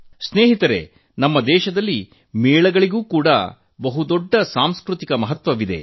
ಮಿತ್ರರೇ ನಮ್ಮ ದೇಶದಲ್ಲಿ ಮೇಳ ಜಾತ್ರೆಗಳಿಗೆ ಬಹು ದೊಡ್ಡ ಸಾಂಸ್ಕೃತಿಕ ಪ್ರಾಮುಖ್ಯ ಇದೆ